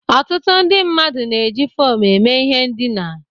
Ọtụtụ ndị mmadụ na-eji foomụ eme ihe ndina.